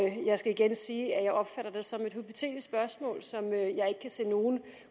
jeg skal igen sige at jeg opfatter det som et hypotetisk spørgsmål som jeg ikke kan se nogen